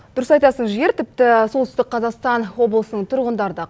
дұрыс айтасың жігер тіпті солтүстік қазақстан облысының тұрғындары да